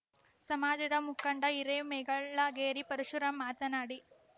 ಸಮಾಜದ ಮುಖಂಡ ಹಿರೆಮೇಗಳಗೇರಿ ಪರಶುರಾಮ್‌ ಮಾತನಾಡಿ